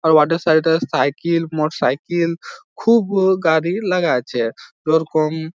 আ ওয়ার্ডের সাইড এ সাইকিল মোট সাইকিল খুব গাড়ি লাগাইছে ওরকম --